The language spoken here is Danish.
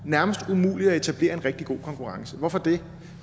nærmest umuligt at etablere en rigtig god konkurrence og hvorfor det